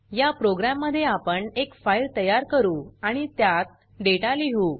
या प्रोग्राम मध्ये आपण एक फाइल तयार करू आणि त्यात डेटा लिहु